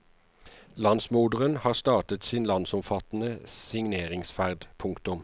Landsmoderen har startet sin landsomfattende signeringsferd. punktum